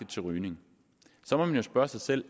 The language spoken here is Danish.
til rygning så må man spørge sig selv